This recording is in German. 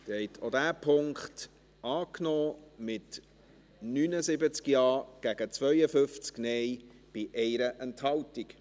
Sie haben auch diesen Punkt angenommen, mit 79 Ja- gegen 52 Nein-Stimmen bei 1 Enthaltung.